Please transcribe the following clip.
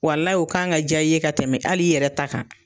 Walahi u kan ka jaa i ye ka tɛmɛ hali i yɛrɛ ta kan.